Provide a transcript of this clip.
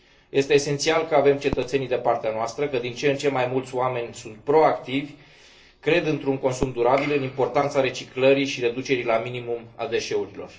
Este esențial că avem cetățenii de partea noastră, că din ce în ce mai mulți oameni sunt proactivi, cred într un consum durabil, în importanța reciclării și reducerii la minimum a deșeurilor.